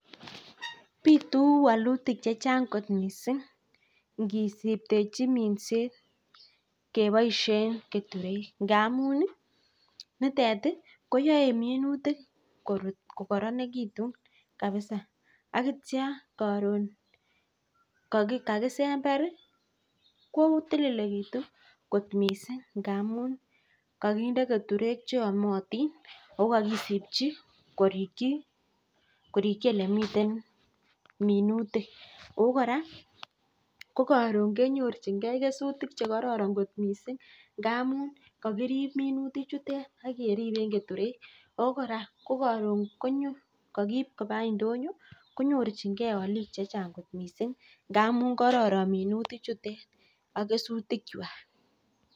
Bitu walutik chechang kot missing ingisiptechi minset keboishen namun nitet koyoe minutik korut kokoronekitun kabisa akityo koron kakisember ko tililekiyun kot missing ingamun kakinde jeturek cheomotin ako kokisipchi koirchin korichi olemiten minutik oo kora ko koron kenyorchinkei kesutik chekororon kot missing ingamun kakirip minutik chuton ak keripen keturej oo koraa ko koron kokiib koba indonyo konyoechikei minutik chute ak kesuyik chukan.